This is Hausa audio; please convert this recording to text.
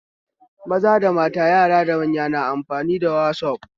Maza da mata, yara da manya na amfani da manhajar wazaf